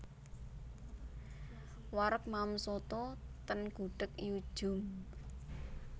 Wareg maem soto ten Gudeg Yu Djum